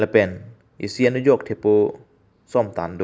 lapen isi anujok thepo som tan do.